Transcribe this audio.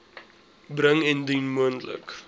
bring indien moontlik